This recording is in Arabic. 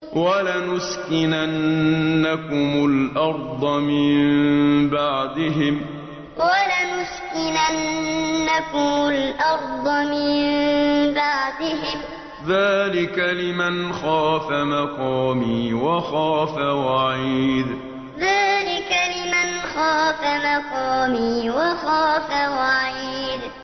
وَلَنُسْكِنَنَّكُمُ الْأَرْضَ مِن بَعْدِهِمْ ۚ ذَٰلِكَ لِمَنْ خَافَ مَقَامِي وَخَافَ وَعِيدِ وَلَنُسْكِنَنَّكُمُ الْأَرْضَ مِن بَعْدِهِمْ ۚ ذَٰلِكَ لِمَنْ خَافَ مَقَامِي وَخَافَ وَعِيدِ